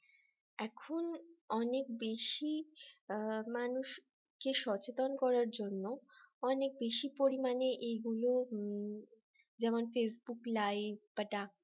এখন অনেক বেশি মানুষ কে সচেতন করার জন্য অনেক বেশি পরিমাণে এগুলো হম যেমন facebook live বা